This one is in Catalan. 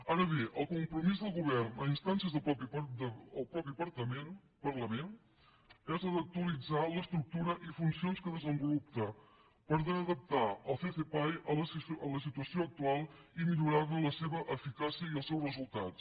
ara bé el compromís del govern a instàncies del mateix parlament és actualitzar l’estructura i funcions que desenvolupa per adaptar el ccpae a la situació actual i millorar ne l’eficàcia i els resultats